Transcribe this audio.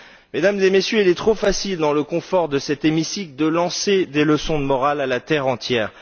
Mesdames et Messieurs, il est trop facile, dans le confort de cet hémicycle, de lancer des leçons de morale à la terre entière.